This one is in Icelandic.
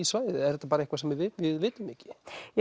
svæði eða er þetta eitthvað sem við vitum ekki